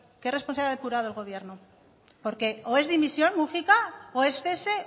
qué responsabilidad ha depurado el gobierno porque es dimisión múgica o es cese